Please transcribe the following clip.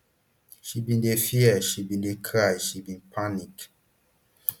she bin dey fear she bin dey cry she bin panic